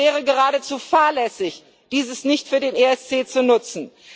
Es wäre geradezu fahrlässig, dieses nicht für den ESC zu nutzen.